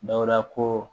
Dawuda ko